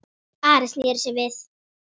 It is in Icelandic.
Ari sneri sér við.